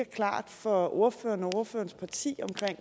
klart for ordføreren og ordførerens parti